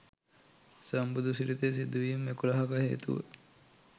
සම්බුදු සිරිතේ සිදුවීම් එකොළහක හේතුව